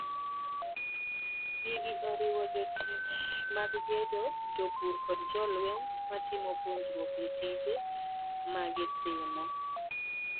Gigi oriwo jotich mag gedo, jopur, kod jolweny ma timo puonjruok e tije magitimo.